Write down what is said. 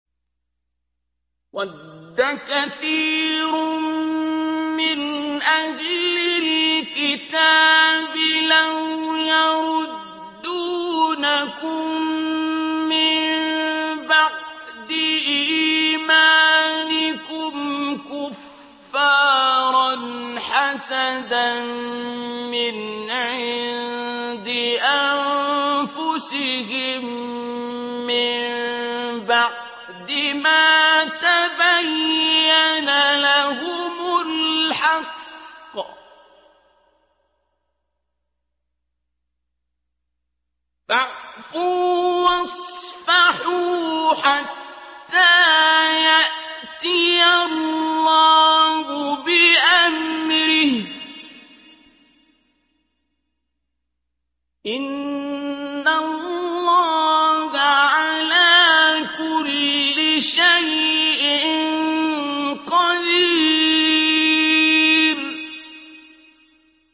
وَدَّ كَثِيرٌ مِّنْ أَهْلِ الْكِتَابِ لَوْ يَرُدُّونَكُم مِّن بَعْدِ إِيمَانِكُمْ كُفَّارًا حَسَدًا مِّنْ عِندِ أَنفُسِهِم مِّن بَعْدِ مَا تَبَيَّنَ لَهُمُ الْحَقُّ ۖ فَاعْفُوا وَاصْفَحُوا حَتَّىٰ يَأْتِيَ اللَّهُ بِأَمْرِهِ ۗ إِنَّ اللَّهَ عَلَىٰ كُلِّ شَيْءٍ قَدِيرٌ